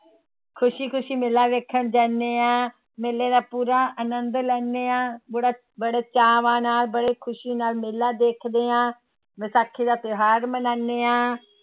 ਖ਼ੁਸ਼ੀ ਖ਼ੁਸ਼ੀ ਮੇਲਾ ਵੇਖਣ ਜਾਂਦੇ ਹਾਂ ਮੇਲੇ ਦਾ ਪੂਰਾ ਆਨੰਦ ਲੈਂਦੇ ਹਾਂ ਬੜਾ ਬੜੇ ਚਾਵਾਂ ਨਾਲ, ਬੜੇ ਖ਼ੁਸ਼ੀ ਨਾਲ ਮੇਲਾ ਦੇਖਦੇ ਹਾਂ, ਵਿਸਾਖੀ ਦਾ ਤਿਉਹਾਰ ਮਨਾਉਂਦੇ ਹਾਂ।